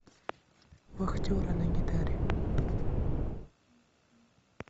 вахтеры на гитаре